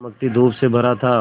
चमकती धूप से भरा था